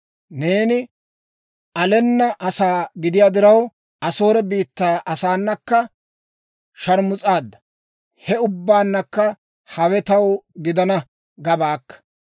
Neeni alenna asaa gidiyaa diraw, Asoore biittaa asaanakka sharmus'aadda. He ubbankka hawe taw gidana gabaakka.